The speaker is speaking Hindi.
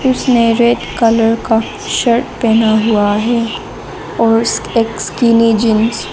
सुनहरे कलर का शर्ट पहना हुआ है और एक स्किनी जींस --